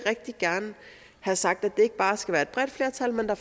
have sagt at der ikke bare skal være et bredt flertal men at